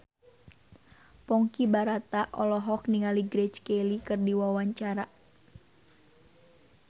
Ponky Brata olohok ningali Grace Kelly keur diwawancara